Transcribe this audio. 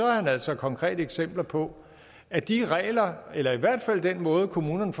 har han altså konkrete eksempler på at de regler eller i hvert fald den måde kommunerne